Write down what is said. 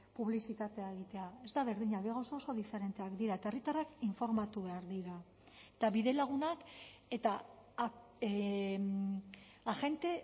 publizitatea egitea ez da berdina bi gauza oso diferenteak dira eta herritarrak informatu behar dira eta bidelagunak eta agente